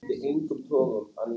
Henni gekk vel í vinnunni.